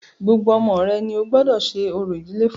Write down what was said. Gbogbo ọmọ rẹ ní o gbọ́dọ̀ ṣe orò ìdílé fún.